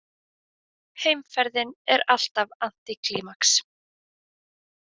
Heimferðin er alltaf antíklímax.